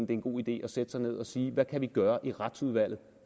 det en god idé at sætte sig ned og sige hvad kan vi gøre i retsudvalget